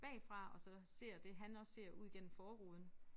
Bagfra og så ser det han også ser ud gennem forruden